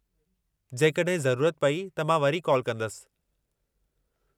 जेकड॒हिं ज़रूरत पेई त मां वरी कॉल कंदसि।